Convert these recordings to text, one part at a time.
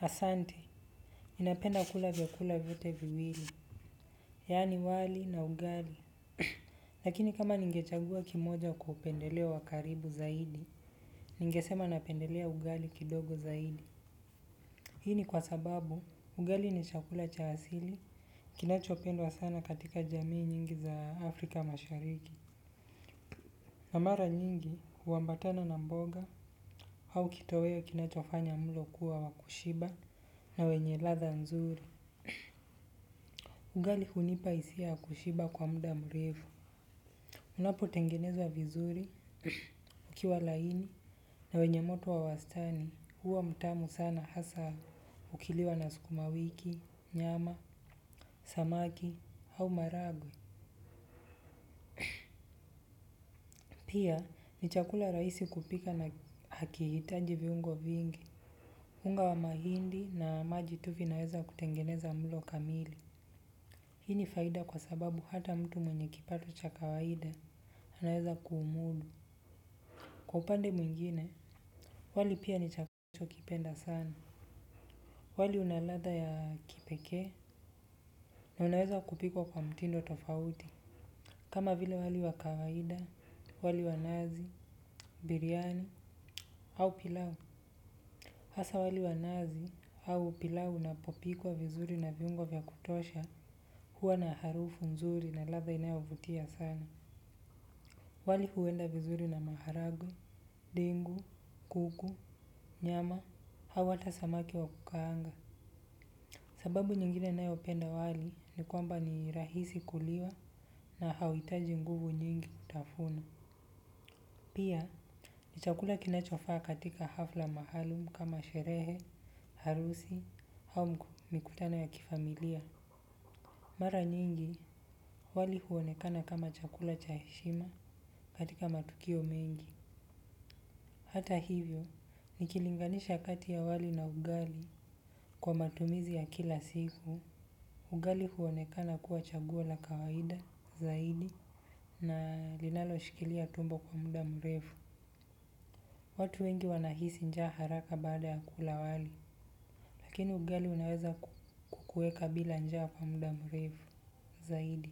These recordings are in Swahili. Asante, ninapenda kula vyakula vyote viwili. Yani wali na ugali. Lakini kama ningechagua kimoja kupendeleo wa karibu zaidi, ningesema napendelea ugali kidogo zaidi. Hii ni kwa sababu ugali ni chakula cha asili kinachopendwa sana katika jamii nyingi za Afrika Mashariki kwa mara nyingi, huambatana na mboga au kitoweo kinachofanya mlo kuwa wa kushiba na wenye ladha nzuri. Ugali hunipa hisia ya kushiba kwa muda mrefu. Unapo tengeneza vizuri, ukiwa laini na wenye moto wa wastani huwa mtamu sana hasa ukiliwa na sukuma wiki, nyama, samaki au maragwe pia ni chakula rahisi kupika na hakihitaji viunho vingi. Unga wa mahindi na maji tu vinaweza kutengeneza mlo kamili. Hii ni faida kwa sababu hata mtu mwenye kipato cha kawaida anaweza kuumudu. Kwa upande mwingine, wali pia ni chakula ninacho kipenda sana. Wali unaladha ya kipekee. Na unaweza kupikwa kwa mtindo tofauti. Kama vile wali wa kawaida, wali wa nazi, biriani, au pilau. Hasa wali wa nazi, au pilau unapopikwa vizuri na viungo vya kutosha huwa na harufu mzuri na ladha inayovutia sana. Wali huenda vizuri na maharage, dengu, kuku, nyama au hata samaki wa kukaanga. Sababu nyingine ninayo penda wali ni kwamba ni rahisi kuliwa na hauhitaji nguvu nyingi kutafuna. Pia ni chakula kinachofaa katika hafla maalum kama sherehe, harusi, au mikutana ya kifamilia. Mara nyingi wali huonekana kama chakula cha heshima katika matukio mengi. Hata hivyo nikilinganisha kati ya wali na ugali kwa matumizi ya kila siku. Ugali huonekana kuwa chaguo la kawaida zaidi na linalo shikilia tumbo kwa muda mrefu. Watu wengi wanahisi njaa haraka baada ya kula wali lakini ugali unaweza kukuweka bila njaa kwa muda mrefu zaidi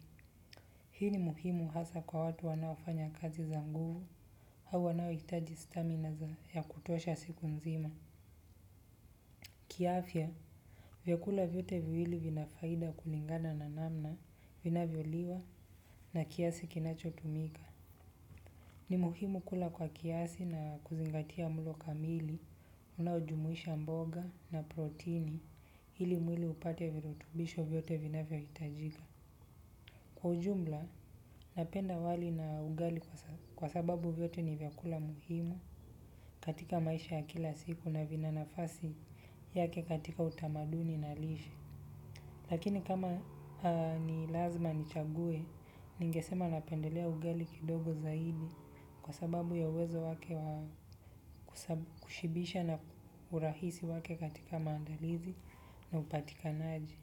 hii ni muhimu hasa kwa watu wanaofanya kazi za nguvu au wanaohitaji stamina ya kutosha siku mzima. Kiafya, vyakula vyote viwili vinafaida kulingana na namna inavyoliwa na kiasi kinacho tumika. Ni muhimu kula kwa kiasi na kuzingatia mlo kamili, unaojumuisha mboga na protini ili mwili upate virutubisho vyote vinavyohitajika. Kwa ujumla, napenda wali na ugali kwa sababu vyote ni vyakula muhimu katika maisha ya kila siku na vina nafasi yake katika utamaduni na lishe. Lakini kama ni lazima nichague, ningesema napendelea ugali kidogo zaidi kwa sababu ya uwezo wake wa kushibisha na urahisi wake katika maandalizi na upatikanaji.